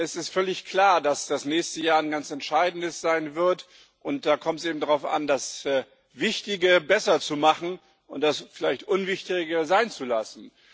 Es ist völlig klar, dass das nächste Jahr ein ganz entscheidendes sein wird, und da kommt es eben darauf an, das Wichtige besser zu machen und das vielleicht Unwichtigere sein zu lassen.